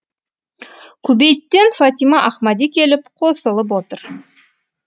кубейттен фатима ахмади келіп қосылып отыр